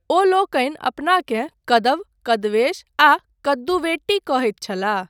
ओलोकनि अपनाकेँ कदव, कदवेश, आ कदुवेट्टी कहैत छलाह।